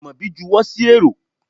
Amobi juwo sí érò